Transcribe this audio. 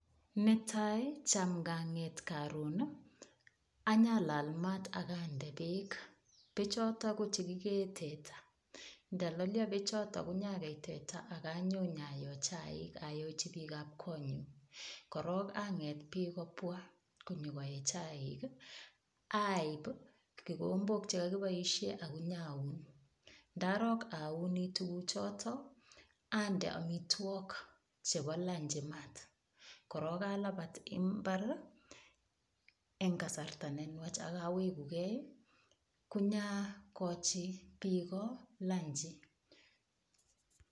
Netai cham nganget karun, anyalal mat ak ande beek. Beechoto ko chekikee teta. Ndalalio beechoto inyagei teta ak anyo nyayo chaik ayochi biikab konyu. Korok anget biik kobwa konyo koe kakiboisie chaik, aip kikombok chekokiboisie ak inyaun. Ndarok auini tuguchoto ande amitwok chebo lanchi mat. Korok alabat imbar eng kasarta nenuach ak awegu gei konyakochi biiko lanchi.